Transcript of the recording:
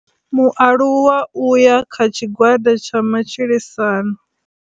Mualuwa u ya kha tshigwada tsha matshilisano.